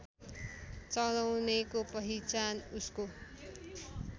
चलाउनेको पहिचान उसको